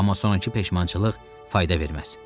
Amma sonrakı peşmançılıq fayda verməz.